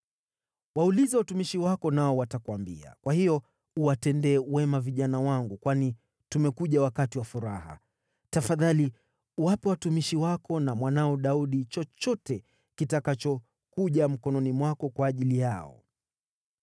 Waulize watumishi wako nao watakuambia. Kwa hiyo uwatendee wema vijana wangu, kwani tumekuja wakati wa furaha. Tafadhali wape watumishi wako na mwanao Daudi chochote kitakachokuja mkononi mwako kwa ajili yao.’ ”